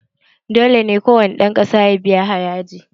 Dole ne kowane ƴan ƙasa su biya haraji!